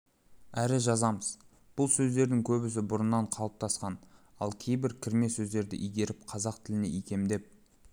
әрі жазамыз бұл сөздердің көбісі бұрыннан қалыптасқан ал кейбір кірме сөздерді игеріп қазақ тіліне икемдеп